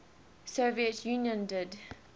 soviet union did